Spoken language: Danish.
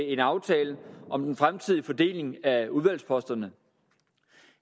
en aftale om den fremtidige fordeling af udvalgsposterne